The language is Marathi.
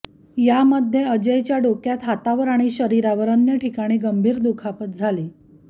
यामध्ये अजयच्या डोक्यात हातावर आणि शरीरावर अन्य ठिकाणी गंभीर दुखापत झाली